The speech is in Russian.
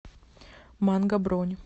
манго бронь